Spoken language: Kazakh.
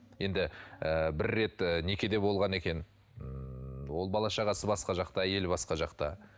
енді ы бір рет ы некеде болған екен ммм ол бала шағасы басқа жақта әйелі басқа жақта